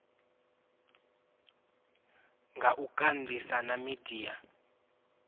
nga u kandisa na midia